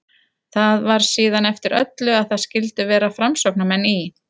Það var síðan eftir öllu að það skyldu vera framsóknarmenn í